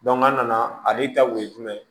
an nana ale ta kun ye jumɛn ye